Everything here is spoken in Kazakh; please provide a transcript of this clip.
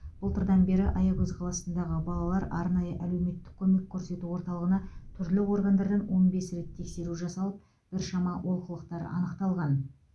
былтырдан бері аягөз қаласындағы балалар арнайы әлеуметтік көмек көрсету орталығына түрлі органдардан он бес рет тексеру жасалып біршама олқылықтар анықталған